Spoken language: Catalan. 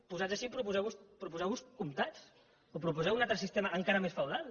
posats així proposeu vos comtats o proposeu un altre sistema encara més feudal